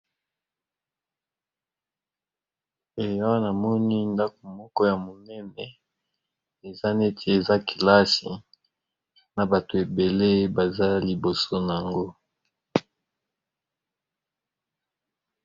Awa na moni ndaku moko ya monene, eza neti eza kelasi, na bato ébélé, baza liboso n'ango .